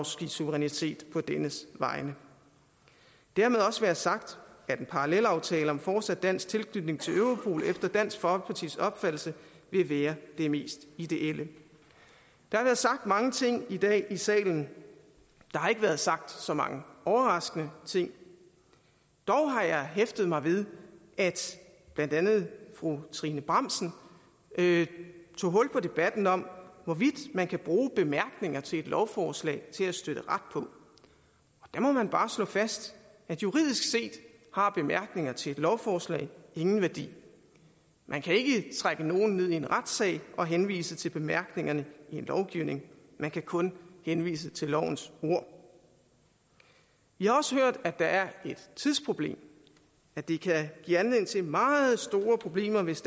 suverænitet på dennes vegne dermed også være sagt at en parallelaftale om fortsat dansk tilknytning til europol efter dansk folkepartis opfattelse vil være det mest ideelle der har været sagt mange ting i dag i salen der har ikke været sagt så mange overraskende ting dog har jeg hæftet mig ved at blandt andet fru trine bramsen tog hul på debatten om hvorvidt man kan bruge bemærkninger til et lovforslag til at støtte ret på der må man bare slå fast at juridisk set har bemærkninger til et lovforslag ingen værdi man kan ikke trække nogen ind i en retssag og henvise til bemærkningerne i en lovgivning man kan kun henvise til lovens ord vi har også hørt at der er et tidsproblem at det kan give anledning til meget store problemer hvis